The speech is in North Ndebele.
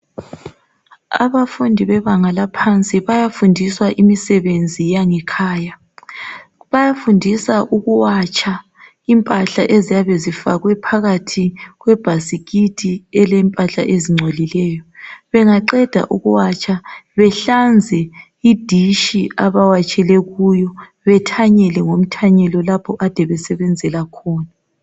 Abafundi bebanga laphansi bayafundiswa imisebenzi yange khaya bayafundiswa ukuwatsha impahla eziyabe zifakwe phakathi kwebasikiti elilempahla ezingcolileyo bengaqeda ukuwatsha behlanze iditshi abawatshele kuyo bethanyele ngomthanyelo lapha ekade besebenzela khona